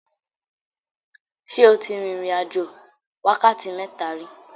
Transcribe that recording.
Ṣé o ti rin ìrìn-àjò wákàtí mẹ́ta rí?